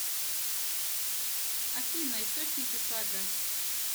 афина источники сага